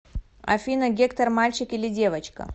афина гектор мальчик или девочка